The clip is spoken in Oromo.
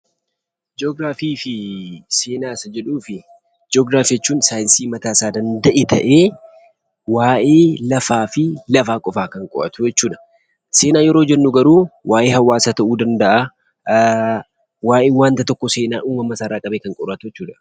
Gi'oogiraafii jechuun saayinsii mataa isaa danda'e ta'ee waa'ee lafaa kan qo'atu jechuudha. Seenaan garuu waa'ee hawaasa yookiin waa'ee wanta tokkoo seenaa isaarraa ka'ee kan qo'atu jechuudha.